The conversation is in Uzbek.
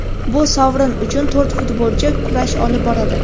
Bu sovrin uchun to‘rt futbolchi kurash olib boradi.